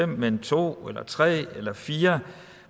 men to tre eller fire